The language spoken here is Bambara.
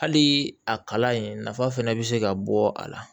Hali a kalan in nafa fana bɛ se ka bɔ a la